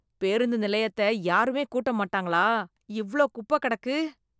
பேருந்து நிலையத்த யாருமே கூட்ட மாட்டாங்களா? இவ்ளோ குப்பக் கெடக்கு.